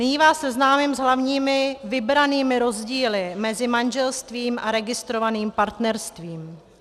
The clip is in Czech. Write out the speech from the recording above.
Nyní vás seznámím s hlavními vybranými rozdíly mezi manželstvím a registrovaným partnerstvím.